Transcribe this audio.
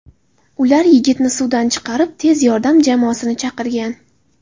Ular yigitni suvdan chiqarib, tez yordam jamoasini chaqirgan.